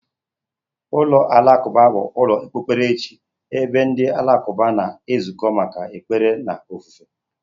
Ụlọ alakụba bụ ụlọ okpukperechi ebe ndị Alakụba na-ezukọ maka ekpere na ofufe.